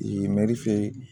mɛri fɛ yen